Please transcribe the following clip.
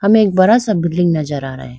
हमें एक बड़ा सा बिल्डिंग नजर आ रहा।